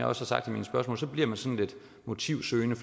har sagt i mine spørgsmål bliver man sådan lidt motivsøgende